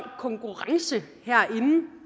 konkurrence